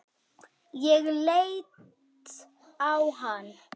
Ég leit á hann.